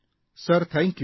sir thank you